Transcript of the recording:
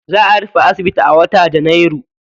Za a rufe asibiti a wata janairu.